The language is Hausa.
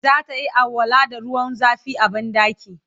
zatayi alwala da ruwan zafi a banɗaki